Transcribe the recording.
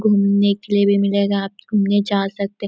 घुमने के लिए भी मिलेगा आप घुमने जा सकते --